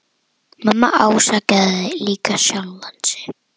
Mamma ásakaði líka sjálfa sig.